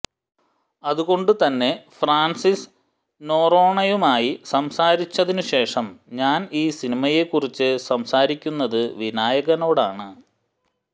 അതുകൊണ്ടുതന്നെ ഫ്രാൻസിസ് നൊറോണയുമായി സംസാരിച്ചതിനു ശേഷം ഞാൻ ഈ സിനിമയെക്കുറിച്ച് സംസാരിക്കുന്നത് വിനായകനോടാണ്